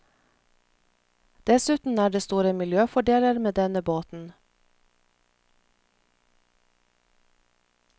Dessuten er det store miljøfordeler med denne båten.